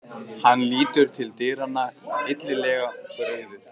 Hann lítur til dyranna, illilega brugðið.